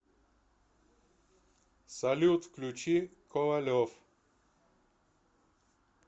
салют включи ковалев